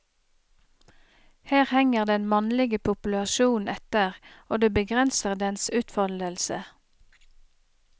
Her henger den mannlige populasjonen etter, og det begrenser dens utfoldelse.